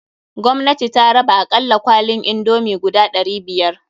Gwamnati ta raba akalla kwalin indomie guda ɗari biyar.